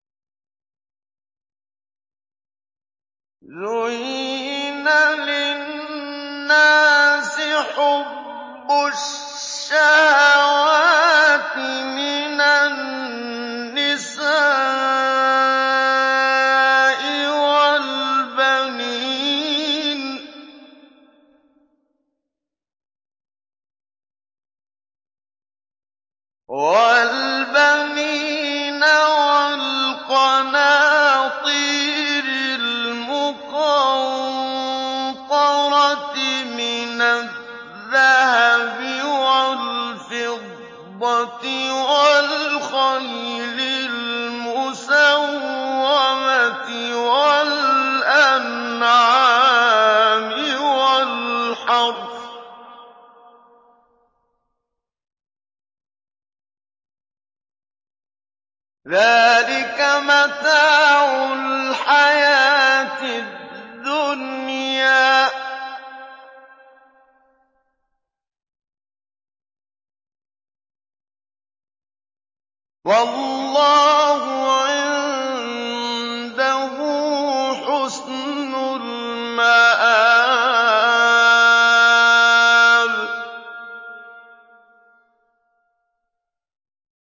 زُيِّنَ لِلنَّاسِ حُبُّ الشَّهَوَاتِ مِنَ النِّسَاءِ وَالْبَنِينَ وَالْقَنَاطِيرِ الْمُقَنطَرَةِ مِنَ الذَّهَبِ وَالْفِضَّةِ وَالْخَيْلِ الْمُسَوَّمَةِ وَالْأَنْعَامِ وَالْحَرْثِ ۗ ذَٰلِكَ مَتَاعُ الْحَيَاةِ الدُّنْيَا ۖ وَاللَّهُ عِندَهُ حُسْنُ الْمَآبِ